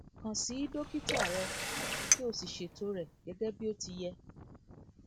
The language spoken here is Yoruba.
kàn sí dókítà rẹ kí o sì ṣètò rẹ gẹgẹ bí ó ti yẹ